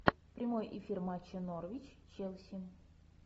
прямой эфир матча норвич челси